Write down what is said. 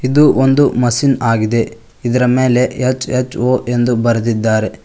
ಇದು ಒಂದು ಮಷೀನ್ ಆಗಿದೆ ಇದರ ಮೇಲೆ ಎಚ್_ಎಚ್_ಓ ಎಂದು ಬರ್ದಿದ್ದಾರೆ.